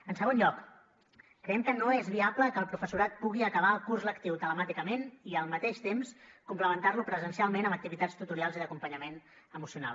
en segon lloc creiem que no és viable que el professorat pugui acabar el curs lectiu telemàticament i al mateix temps complementarlo presencialment amb activitats tutorials i d’acompanyament emocional